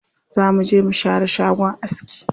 Za mu je mu share shagon aski.